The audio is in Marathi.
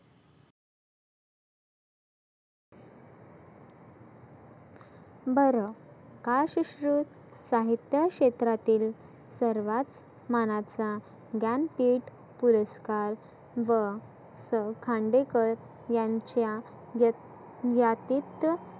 बरं काय सुश्रुत साहीत्य क्षेत्रातील सर्वात मानाचा ज्ञान पिठ पुरस्कार व स खांडेकर यांच्या व्य यातीत